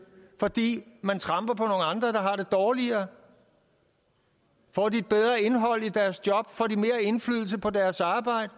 fordi man tramper på nogle andre der har det dårligere får de et bedre indhold i deres job får de mere indflydelse på deres arbejde